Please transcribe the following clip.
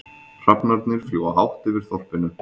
Hrafnarnir fljúga hátt yfir þorpinu.